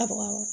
A baga